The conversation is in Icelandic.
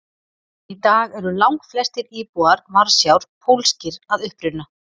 Í dag eru langflestir íbúar Varsjár pólskir að uppruna.